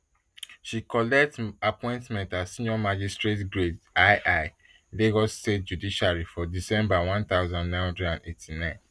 she collect um appointment as senior magistrate grade ii lagos state judiciary for december one thousand, nine hundred and eighty-nine